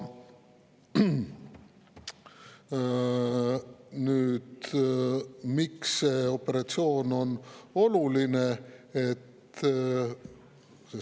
Nüüd, miks see operatsioon on oluline?